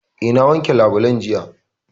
Eh, na wanke labulen jiya